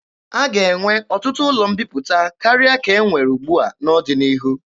A ga-enwe ọtụtụ ụlọ mbiputa karịa ka e nwe ugbua n'ọdịnihu.